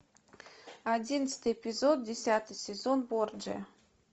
одиннадцатый эпизод десятый сезон борджиа